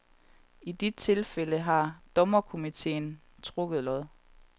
I de tilfælde har dommerkomiteen trukket lod.